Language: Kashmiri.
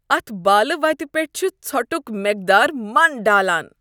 اتھ بالہ وتہ پیٹھ چھ ژھۄٹک مقدار من ڈالان۔